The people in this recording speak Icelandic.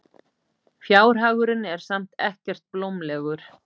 Fjárhagurinn er samt ekkert blómlegur.